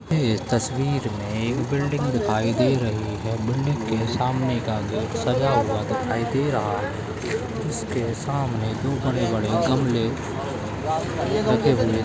यह तस्वीर मे एक बिल्डिंग दिखाई दे रही है बिल्डिंग के सामने का गेट सजा हुआ दिखाई दे रहा है उसके सामने दो बड़े-बड़े गमले लगे हुए --